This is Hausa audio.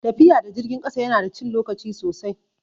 Tafiya da jirgin ƙasa ya na da cin lokaci sosai